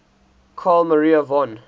carl maria von